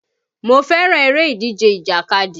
Mo fẹ́ràn eré ìdíje ìjàkadì